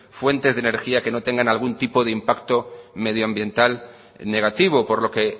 fuentes de energías que no tenga algún tipo de impacto medioambiental negativo por lo que